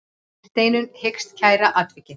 Steinunn hyggst kæra atvikið.